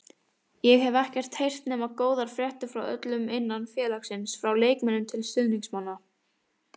Ég hef ekkert heyrt nema góðar fréttir frá öllum innan félagsins, frá leikmönnum til stuðningsmanna.